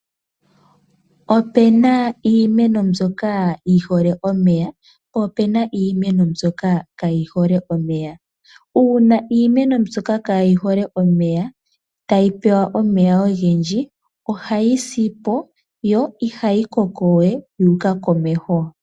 Opuna iimeno mbyoka yi hole omeya, po opuna iimeno mbyoka kaayi hole omeya. Uuna iimeno mbyoka kaayi hole omeya tayi pewa omeya ogendji, ohayi sipo yo ihayi kokowe yu uka komeho.